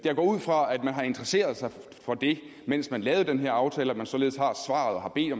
ud fra at man har interesseret sig for det mens man lavede den her aftale og at man således har